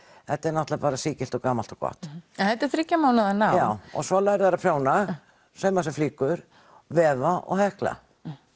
þetta er náttúrulega sígilt og gamalt og gott en þetta er þriggja mánaða nám já svo læra þau að prjóna sauma sér flíkur vefa og hekla